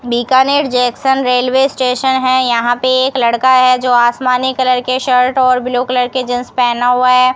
Bikaner junction railway station है यहां पे एक लड़का है जो आसमानी कलर के शर्ट और ब्लू कलर के जींस पेहना हुआ है।